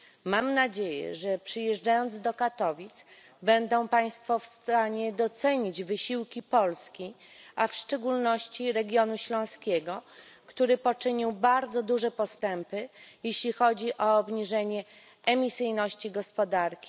Mam nadzieję, że przyjeżdżając do Katowic, będą państwo w stanie docenić wysiłki Polski, a w szczególności regionu śląskiego, który poczynił bardzo duże postępy, jeśli chodzi o obniżenie emisyjności gospodarki.